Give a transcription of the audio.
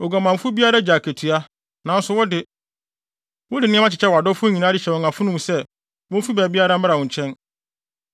Oguamanfo biara gye akatua, nanso wo de, wode nneɛma kyekyɛ wʼadɔfo nyinaa de hyɛ wɔn afono mu sɛ, womfi baabiara mmra wo nkyɛn.